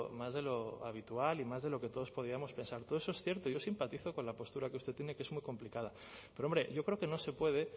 más de lo habitual y más de lo que todos podíamos pensar todo eso es cierto y yo simpatizo con la postura que usted tiene que es muy complicada pero hombre yo creo que no se puede